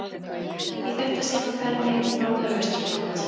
Í þetta sinn var ferðinni heitið norður og austur á land.